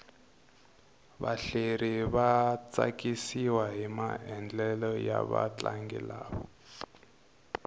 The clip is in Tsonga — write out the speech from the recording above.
vahlaleri va tsakisiwahi maendlelo ya vatlangi lava